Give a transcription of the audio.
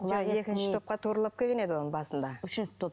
екінші топқа туралап келген еді ол басында үшінші топ